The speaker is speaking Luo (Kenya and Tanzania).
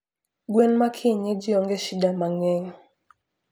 gwen ma kienyeji onge shida mangeny